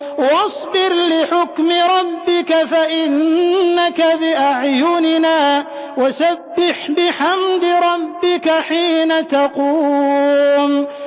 وَاصْبِرْ لِحُكْمِ رَبِّكَ فَإِنَّكَ بِأَعْيُنِنَا ۖ وَسَبِّحْ بِحَمْدِ رَبِّكَ حِينَ تَقُومُ